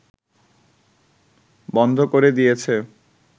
বন্ধ করে দিয়েছে